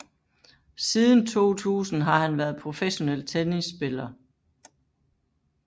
Siden 2000 har han været professionel tennispiller